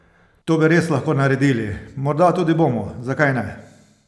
To bi res lahko naredili, morda tudi bomo, zakaj ne?